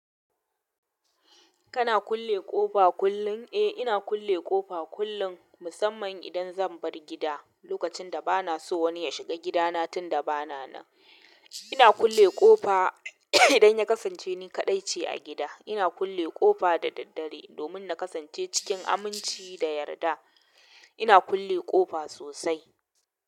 Kana kulle ƙofa kullum? Eh, ina kulle ƙofa kullun musamman idan zan bar gida. Lokacin da ba na so wani ya shiga gidana tun da ba na nan, ina kulle ƙofa. Idan ya kasance ni kaɗai ce a gida, ina kulle ƙofa da daddare domin na kasance cikin aminci da yarda. Ina kulle ƙofa sosai.